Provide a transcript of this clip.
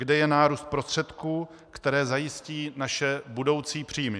Kde je nárůst prostředků, které zajistí naše budoucí příjmy?